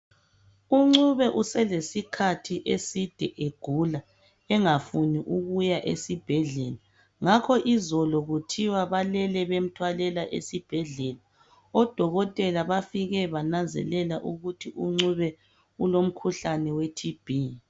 u Ncube uselesikhathi eside egula engafuni ukuya esibhedlela ngakho izolo kuthia balele bemthwalela esibhedlela odokotela bafike bananzelela ukuthi uNcube ulomkhuhlane we TB